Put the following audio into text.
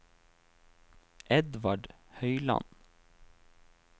Edvard Høyland